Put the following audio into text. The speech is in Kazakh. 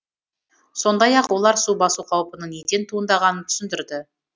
сондай ақ олар су басу қаупінің неден туындағанын түсіндірді